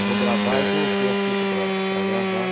Eu vou gravar e coloquei a fita para para gravar.